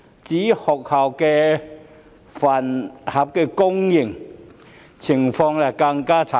至於學校飯盒供應業，情況更不堪。